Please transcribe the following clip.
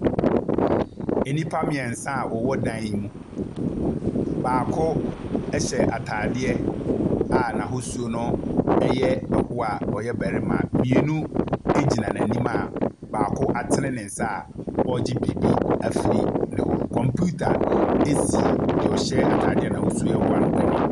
Enipa mmiɛnsa a ɛwɔ dan mu. Baako ɛhyɛ ataadeɛ a n'ahosuo no ɛyɛ ɛhoa a ɔyɛ barima. Mmienu egyina ne nim a baako atene nensa ɔregye biribi ɛfiri ne hɔ. Computer esi deɛ ɔhyɛ ataade a n'ahosuo ɛyɛ ɛhoa no anim.